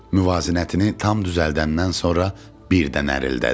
Muvazinətini tam düzəldəndən sonra birdən nərildədi.